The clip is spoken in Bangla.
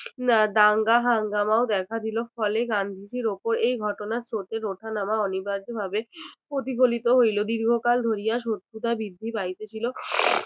দাঙ্গা এর হাঙ্গামাও দেখা দিল ফলে গান্ধীজীর ওপর এই ঘটনার স্রোতের ওঠানামা অনিবার্যভাবে প্রতিফলিত হইল দীর্ঘকাল ধরিয়া শত্রুতা বৃদ্ধি পাইতেছিল